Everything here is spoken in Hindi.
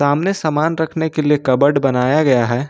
सामने सामान रखने के लिए कबर्ड बनाया गया है।